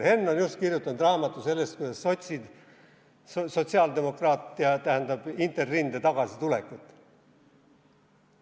Henn kirjutas just raamatu sellest, kuidas sotsiaaldemokraatia tähendab Interrinde tagasitulekut.